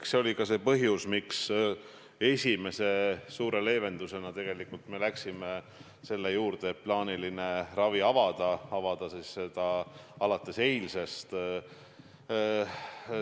Eks see oli ka põhjus, miks esimese suure leevendusena me läksime selle juurde, et plaaniline ravi avada alates eilsest.